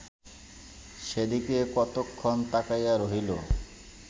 সেদিকে কতক্ষণ তাকাইয়া রহিল